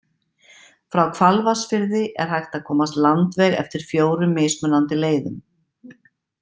Frá Hvalvatnsfirði er hægt að komast landveg eftir fjórum mismunandi leiðum.